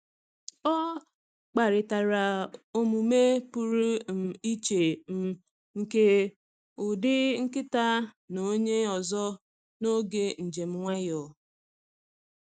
Ọ kparịtara omume pụrụ um iche um nke ụdị nkịta na onye ọzọ n’oge njem nwayọọ.